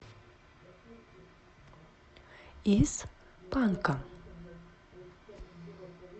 из панка